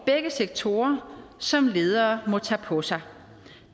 begge sektorer som ledere må tage på sig